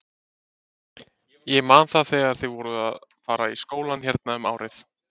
Ég man það þegar þið voruð að fara í skólann hérna um árið!